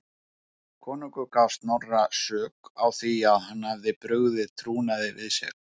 Konungur gaf Snorra sök á því að hann hefði brugðið trúnaði við sig.